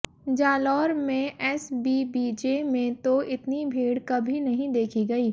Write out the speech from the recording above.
जालोर में एसबीबीजे में तो इतनी भीड़ कभी नहीं देखी गई